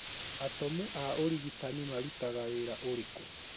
Atomu a ũrigitani marũtaga wĩra ũrĩkũ?